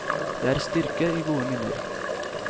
Det er styrke i gode minner.